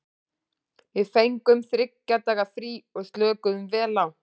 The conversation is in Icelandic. Við fengum þriggja daga frí og slökuðum vel á.